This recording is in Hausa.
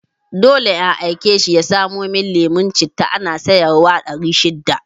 Dole in aike shi ya samo mun lemon citta, ana sayar wa ɗari shida